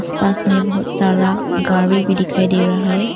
आस पास में बहुत सारा गाड़ी भी दिखाई दे रहा है।